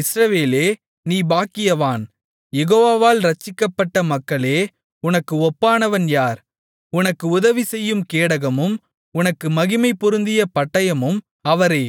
இஸ்ரவேலே நீ பாக்கியவான் யெகோவாவால் இரட்சிக்கப்பட்ட மக்களே உனக்கு ஒப்பானவன் யார் உனக்கு உதவிசெய்யும் கேடகமும் உனக்கு மகிமை பொருந்திய பட்டயமும் அவரே